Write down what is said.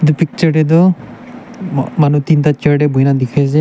picture tae tu ma manu teenta chair tae buhina dikhiase.